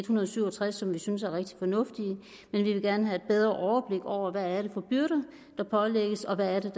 hundrede og syv og tres som vi synes er rigtig fornuftige men vi vil gerne have et bedre overblik over hvad det er for byrder der pålægges og hvad det